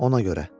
Ona görə.